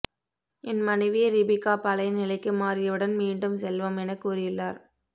என் மனைவி ரிபிகா பழைய நிலைக்கு மாறியவுடன் மீண்டும் செல்வோம் என கூறியுள்ளார்